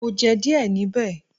Mo jẹ díẹ̀ níbẹ̀.